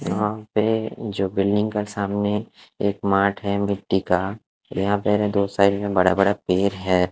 यहाँ पे जो बिल्डिंग का सामने एक माठ है मिट्टी का यहाँ पर दो साइड में बड़ा-बड़ा पेड़ है।